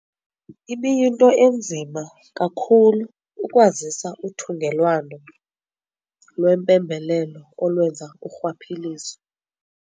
Ibiyinto enzima kakhulu ukwazisa uthungelwano lwempembelelo olwenza urhwaphilizo.